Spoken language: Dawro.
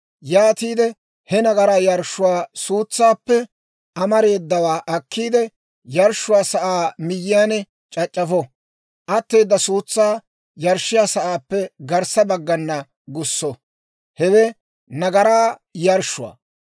Yaatiide he nagaraa yarshshuwaa suutsaappe amareedawaa akkiide, yarshshiyaa sa'aa miyyiyaan c'ac'c'afo; atteeda suutsaa yarshshiyaa sa'aappe garssa baggana gusso; hewe nagaraa yarshshuwaa.